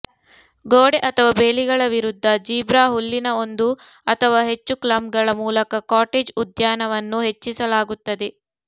ಗೋಡೆ ಅಥವಾ ಬೇಲಿಗಳ ವಿರುದ್ಧ ಜೀಬ್ರಾ ಹುಲ್ಲಿನ ಒಂದು ಅಥವಾ ಹೆಚ್ಚು ಕ್ಲಂಪ್ಗಳ ಮೂಲಕ ಕಾಟೇಜ್ ಉದ್ಯಾನವನ್ನು ಹೆಚ್ಚಿಸಲಾಗುತ್ತದೆ